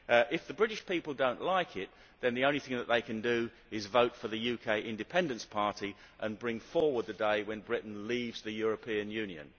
If the British people do not like it, then the only thing that they can do is vote for the UK Independence Party and bring forward the day when Britain leaves the European Union.